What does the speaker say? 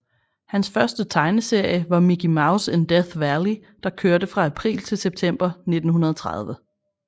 Hans første tegneserie var Mickey Mouse in Death Valley der kørte fra april til september 1930